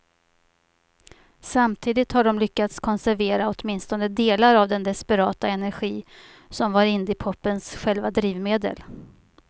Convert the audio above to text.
Samtidigt har de lyckats konservera åtminstone delar av den desperata energi som var indiepopens själva drivmedel.